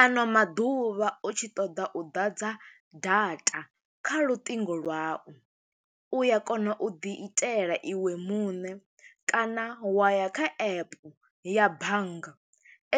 Ano maḓuvha u tshi ṱoḓa u ḓadza data kha lutingo lwau, u ya kona u ḓi itela iwe muṋe, kana wa ya kha epe ya bannga.